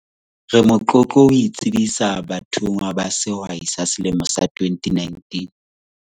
Re motlotlo ho o tsebisa bathonngwa ba Sehwai sa selemo sa 2019.